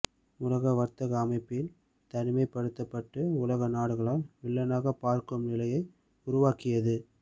உலக வர்த்தக அமைப்பில் தனிமைப்படுத்தப்பட்டு உலக நாடுகளால் வில்லனாகப் பார்க்கும் நிலையை உருவாக்கியது